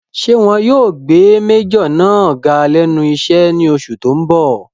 Ṣé wọn yóò gbé májọ̀ náà ga lẹ́nu iṣẹ́ ní oṣù tó n bọ̀?